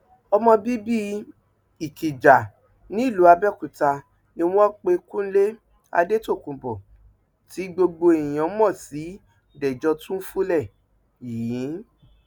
ọmọ bíbí ikija nílùú abẹọkúta ni wọn pe kúnlé adétòkùnbó tí gbogbo èèyàn mọ sí dèjò túnfúlé yìí